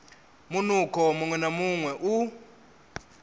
munukho muṅwe na muṅwe u